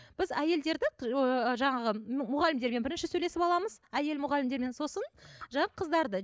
біз әйелдерді жаңағы мұғалімдермен бірінші сөйлесіп аламыз әйел мұғалімдермен сосын қыздарды